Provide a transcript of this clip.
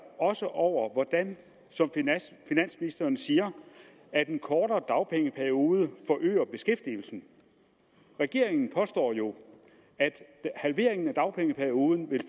også over hvordan som finansministeren siger at den kortere dagpengeperiode forøger beskæftigelsen regeringen påstår jo at halveringen af dagpengeperioden vil